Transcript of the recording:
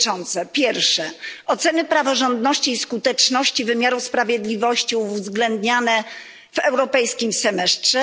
Po pierwsze ocena praworządności i skuteczności wymiaru sprawiedliwości uwzględniana w europejskim semestrze.